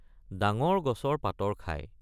ডাঙৰ গছৰ পাতৰ খায়